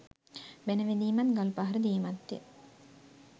බැණ වැදීමත් ගල්පහර දීමත් ය